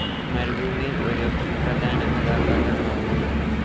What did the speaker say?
മരുഭൂമിയിൽ ഒരു പ്രധാന കഥാപാത്രമാകുന്നു.